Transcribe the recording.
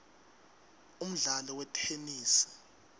umdlalo wetenesi